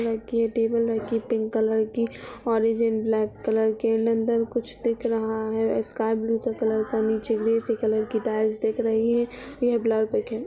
रखी है टेबल रखी है पिंक कलर की ऑरेंज एंड ब्लैक कलर के अन्दर कुछ दिख रहा है। स्काई ब्लू के कलर का नीचे ग्रे के कलर की टाइल्स दिख रही है। यह